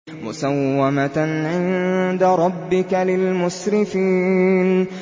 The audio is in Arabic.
مُّسَوَّمَةً عِندَ رَبِّكَ لِلْمُسْرِفِينَ